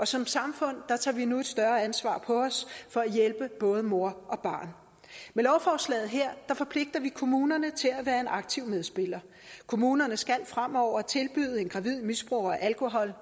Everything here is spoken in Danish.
som samfund tager vi nu et større ansvar på os for at hjælpe både mor og barn med lovforslaget her forpligter vi kommunerne til at være en aktiv medspiller kommunerne skal fremover tilbyde en gravid misbruger af alkohol